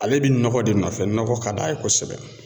Ale bɛ nɔgɔ de nɔfɛ nɔgɔ ka d'a ye kosɛbɛ.